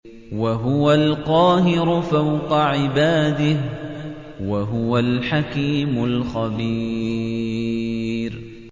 وَهُوَ الْقَاهِرُ فَوْقَ عِبَادِهِ ۚ وَهُوَ الْحَكِيمُ الْخَبِيرُ